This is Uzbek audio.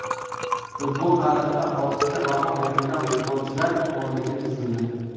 Futbol tarixida ortiqcha baho berilgan futbolchilar o‘nligi tuzildi.